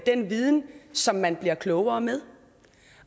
den viden som man bliver klogere med